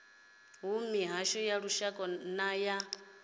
mihasho ya lushaka na ya